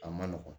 A man nɔgɔn